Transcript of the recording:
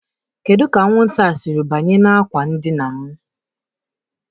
Kedu ka anwụnta a siri banye n'ime ákwà ndina m?